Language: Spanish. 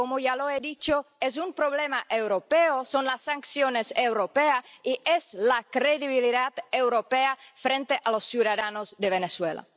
Y, como ya he dicho, es un problema europeo, son las sanciones europeas y es la credibilidad europea frente a los ciudadanos de Venezuela.